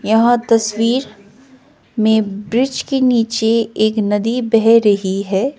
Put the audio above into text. यह तस्वीर में ब्रिज के नीचे एक नदी बह रही है।